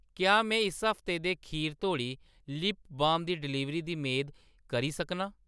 क्या में इस हफ्ते दे खीर तोड़ी लिप बाम दी डलीवरी दी मेद करी सकनां ?